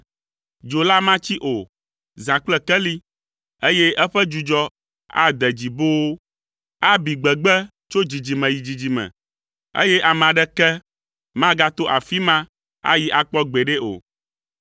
Dzo la matsi o, zã kple keli, eye eƒe dzudzɔ ade dzi boo. Abi gbegbe tso dzidzime yi dzidzime, eye ame aɖeke magato afi ma ayi akpɔ gbeɖe o.